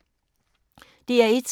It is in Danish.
DR1